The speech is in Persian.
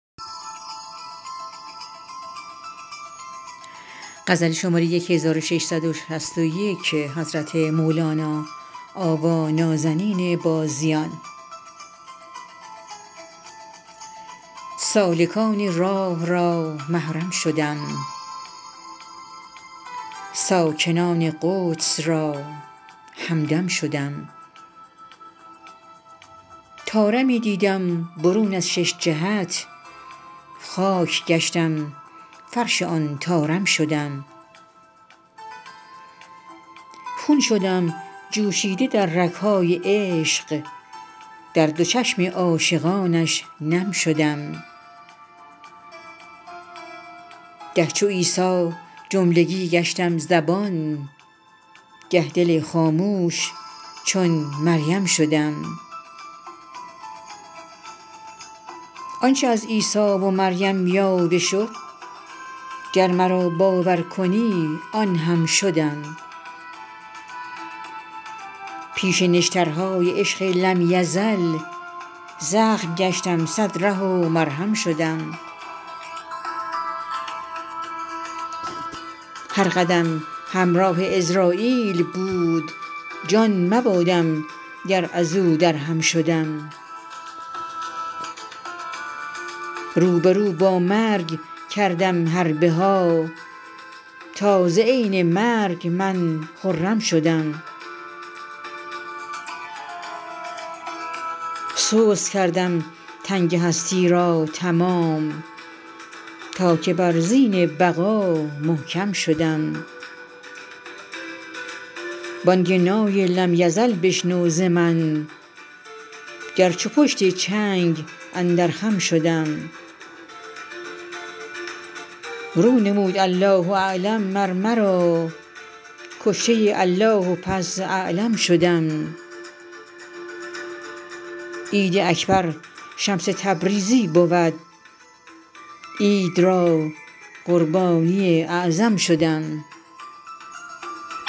سالکان راه را محرم شدم ساکنان قدس را همدم شدم طارمی دیدم برون از شش جهت خاک گشتم فرش آن طارم شدم خون شدم جوشیده در رگ های عشق در دو چشم عاشقانش نم شدم گه چو عیسی جملگی گشتم زبان گه دل خاموش چون مریم شدم آنچ از عیسی و مریم یاوه شد گر مرا باور کنی آن هم شدم پیش نشترهای عشق لم یزل زخم گشتم صد ره و مرهم شدم هر قدم همراه عزراییل بود جان مبادم گر از او درهم شدم رو به رو با مرگ کردم حرب ها تا ز عین مرگ من خرم شدم سست کردم تنگ هستی را تمام تا که بر زین بقا محکم شدم بانگ نای لم یزل بشنو ز من گر چو پشت چنگ اندر خم شدم رو نمود الله اعلم مر مرا کشته الله و پس اعلم شدم عید اکبر شمس تبریزی بود عید را قربانی اعظم شدم